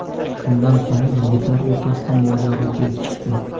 Shundan so‘ng yigitlar o‘rtasida mojaro kelib chiqdi.